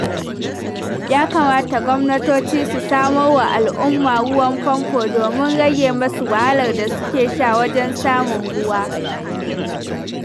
Ya kamata gwamnatoci su samar wa da al'umma ruwan famfo domin rage musu wahalar da suke sha wajen samun ruwa.